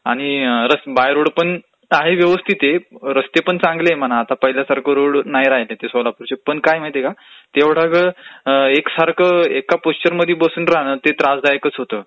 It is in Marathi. आणि बाय रोडपण आहेत व्यवस्थित आहे, रस्तेपण चांगले आहेत म्हणा आता पहिल्यासारखे रोड नाही राहिले सोलापूरचे. पण काय आहे माहितेय का एवढावेळं एक सारखं एका पोश्चरमध्ये बसून राहणं ते त्रासदायकच होतं.